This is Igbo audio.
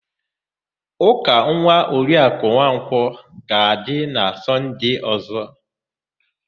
Ụka nwa Oriakụ Nwankwọ ga-adị na Sọnde ọ̀zọ́.